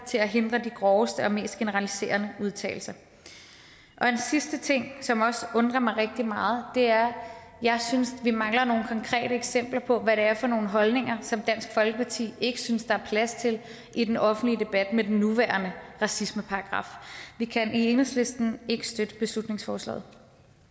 til at hindre de groveste og mest generaliserende udtalelser en sidste ting som også undrer mig rigtig meget er at jeg synes vi mangler nogle konkrete eksempler på hvad det er for nogle holdninger som dansk folkeparti ikke synes der er plads til i den offentlige debat med den nuværende racismeparagraf vi kan i enhedslisten ikke støtte beslutningsforslaget